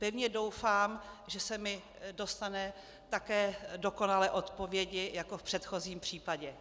Pevně doufám, že se mi dostane také dokonalé odpovědi jako v předchozím případě.